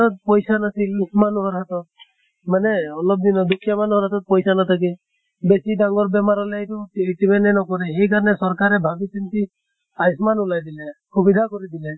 ত পইছা নাছিল উ মানুহৰ হাতত মানে অলপ দিনত দুখীয়া মানুহৰ হাতত পইছা নাথাকে। বেছি ডাঙৰ বেমাৰ হʼলে এইতো treatment য়ে নকৰে। সেই কাৰণে চৰকাৰে ভাবি চিন্তি আয়োচ্মান ওলিয়াই দিলে । সুবিধা কৰি দিলে